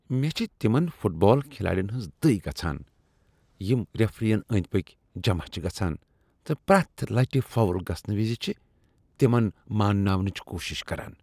مےٚ چھ تِمن فٹ بال کھلاڑین ہنز دٕےگژھان یم ریفرین أندۍ پٔکۍ جمع چھ گژھان تہٕ پرٛیتھ لٹہ فاؤل گژھنہٕ وز چھ تمن مانناونٕچ کوشش کران۔